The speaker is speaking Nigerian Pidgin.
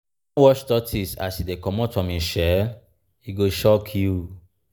you don watch tortoise as e dey comot from im shell? e go shock you.